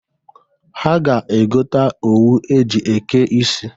Ha ga-egota owu e ji eke isi.